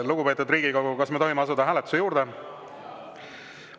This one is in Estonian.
Lugupeetud Riigikogu, kas me tohime asuda hääletuse juurde?